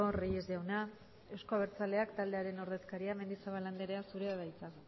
reyes jauna euzko abertzaleak taldearen ordezkaria mendizabal andrea zurea da hitza